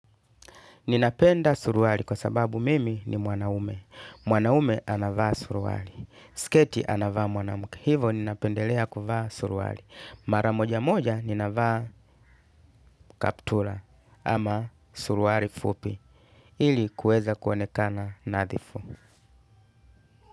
Ninapenda suruali kwa sababu mimi ni mwanaume. Mwanaume anavaa suruari. Sketi anavaa mwanamke. Hivyo ninapendelea kuvaa suruali. Mara moja moja nina vaa kaptula ama suruali fupi. Ili kuweza kuonekana nadhifu.